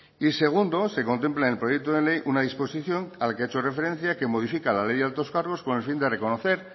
y segundo se contempla en el proyecto de ley una disposición a la que ha hecho referencia que modifica la ley de altos cargos con el fin de reconocer